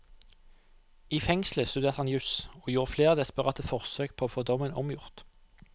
I fengselet studerte han jus, og gjorde flere desperate forsøk på å få dommen omgjort.